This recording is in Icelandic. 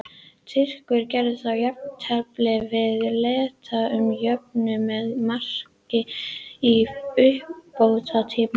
Tyrkir gerðu þá jafntefli við Letta sem jöfnuðu með marki í uppbótartíma.